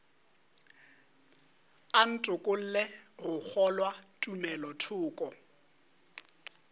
a ntokolle go kgolwa tumelothoko